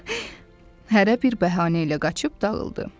Hərə bir bəhanə ilə qaçıb dağıldı.